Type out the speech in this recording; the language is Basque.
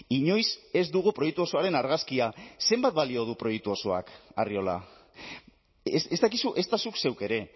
inoiz ez dugu proiektu osoaren argazkia zenbat balio du proiektu osoak arriola ez dakizu ezta zuk zeuk ere